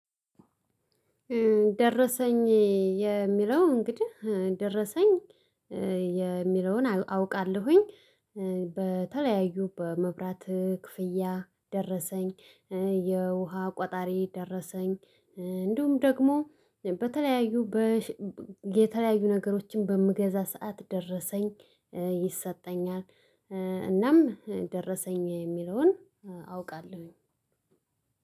ደረሰኝ የሚለው እንግዲህ፣ ደረሰኝ የሚለውን አውቃለሁኝ። በተለያዩ በመብራት ክፍያ ደረሰኝ የውሃ ቆጣሪ ደረሰኝ፣ እንዲሁም ደግሞ በተለያዩ በሸ የተለያዩ ነገሮችን በምገዛ ሰዓት ደረሰኝ ይሰጠኛል። እናም ደረሰኝ የሚለውን አውቃለሁኝ።